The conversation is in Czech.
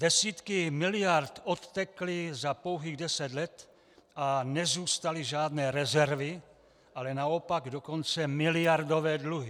Desítky miliard odtekly za pouhých deset let a nezůstaly žádné rezervy, ale naopak dokonce miliardové dluhy.